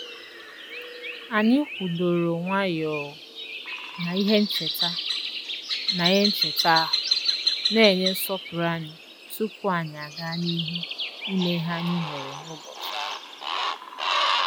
Anyị kwụdoro nwayọọ na ihe ncheta na ihe ncheta ahụ, na-enye nsọpụrụ anyị tupu anyị aga n'ihu ime ihe anyị nwere n'ụbọchị ahụ.